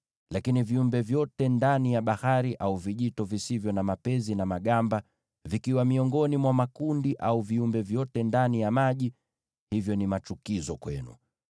Lakini viumbe wote ndani ya bahari au vijito wasio na mapezi na magamba, wakiwa miongoni mwa makundi au viumbe wote ndani ya maji, hao ni machukizo kwenu.